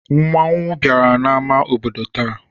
Mmanwụ bịara n'amá obodo taa.